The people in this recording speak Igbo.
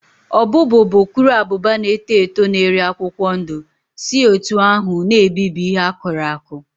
Ọbụ́bụụ bụ ukuruabụba na-eto eto na-eri akwụkwọ ndụ si otú ahụ na-ebibi ihe akụrụ akụ